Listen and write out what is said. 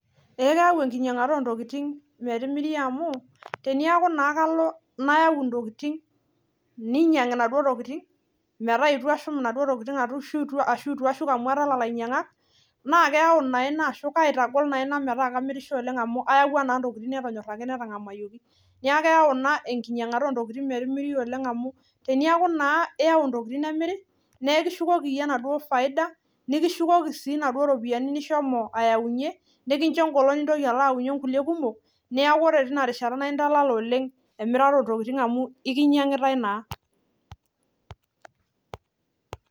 keyau enkinyangata oontokiting metimiri amuu tenayau intokiting neponunui ainyangu naa kaitagol ina mainyangu aitoki ooleng peeyenteleyae aninyangu naa kalo ake aitoki ayau kulie amu kaisho naa ina engolon sapuk matoponai. Amuu ore ake piiyau nemiri naa ekincho yie faida amuu kinyangitae naa.